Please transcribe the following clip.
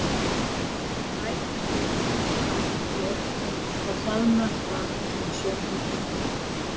En nær það kemur, sem algjört er, þá hjaðnar það sem sjónhendingin er.